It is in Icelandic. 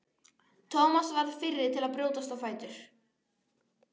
Thomas varð fyrri til að brjótast á fætur.